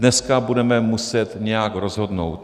Dneska budeme muset nějak rozhodnout.